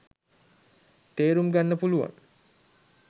තේරුම් ගන්න පුළුවන්